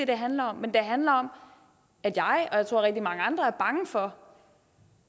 det handler om men det handler om at jeg og jeg tror også rigtig mange andre er bange for